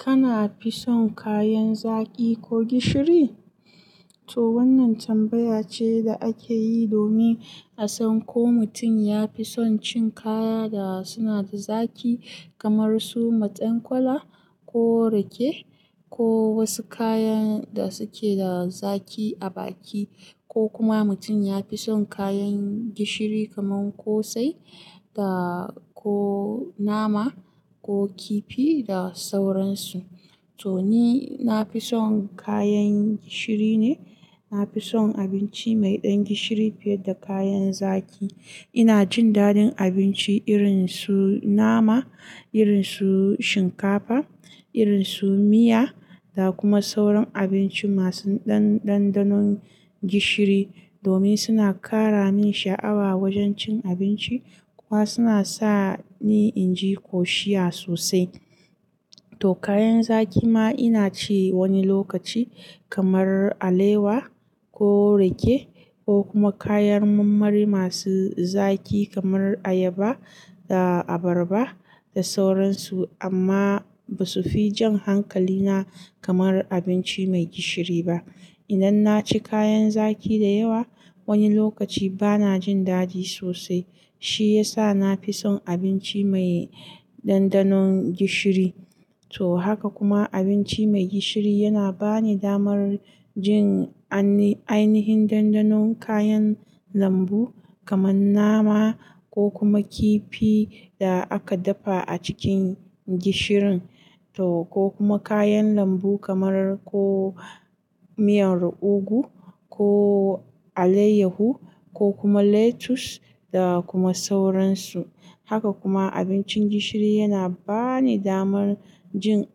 Kana fison kayan zaki ko gishiri? To wannan tambaya ce da ake yi domin a san ko mutum ya fi son cin kaya da suna da zaki kamar su matsen kwalai ko rake ko wasu kayan da suke da zaki a baki, ko kuma mutum ya fi son kayan gishiri kaman kosai da ko nama ko kifi da sauransu. To ni na fi son kayan gishiri ne. Na fi son abinci mai ɗan gishiri fiye da kayan zaki. Ina jin dadin abinci irin su nama, irin su shinkafa, irin su miya da kuma sauran abinci masu ɗanɗanon gishiri domin suna kara min sha'awa wajen cin abinci kuma suna sa ni in ji ƙoshiya sosai. To kayan zaki ma ina ci wani lokaci kamar alewa ko rake ko kuma kayan marmari masu zaki kamar ayaba da abarba da sauransu. Amma ba su fi jan hankalina kamar abinci mai gishiri ba. Idan na ci kayan zaki da yawa wani lokaci ba na jin daɗi sosai. Shi ya sa na fi son abinci mai ɗanɗanon gishiri. To haka kuma abinci mai gishiri yana ba ni damar jin ainihin ɗanɗanon kayan lambu kaman nama ko kuma kifi da aka dafa a cikin gishirin to ko kuma kayan lambu kamar ko miyan ugu ko alayyahu ko kuma lettuce da kuma sauransu. Haka kuma abincin gishiri yana ba ni damar jin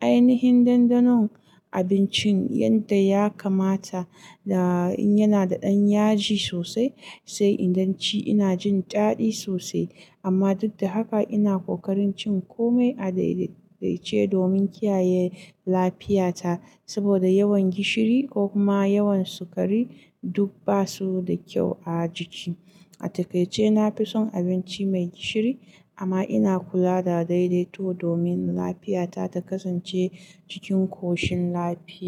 ainihin ɗanɗanon abincin yadda ya kamata. Da in yana da ɗan yaji sosai sai idan ci ina jin daɗi sosai. Amma duk da haka ina kokarin cin kome a daidaitace domin kiyaye lafiyata. Saboda yawan gishiri ko kuma yawan sukari duk ba su da kyau a jiki. A takaice na fi son abinci mai gishiri amma ina kula da daidaito domin lafiyata ta kasance cikin koshin lafiya.